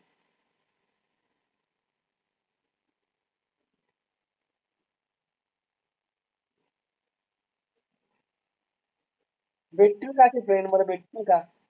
भेटतील का ते friend मला भेटतील का?